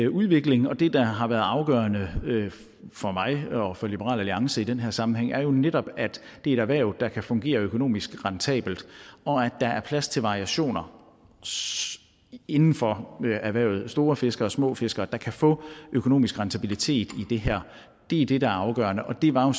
udvikling og det der har været afgørende for mig og for liberal alliance i den her sammenhæng er jo netop at det er et erhverv der kan fungere økonomisk rentabelt og at der er plads til variationer inden for erhvervet store fiskere små fiskere der kan få økonomisk rentabilitet i det her det er det der er afgørende og det var